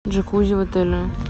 джакузи в отеле